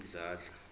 udladla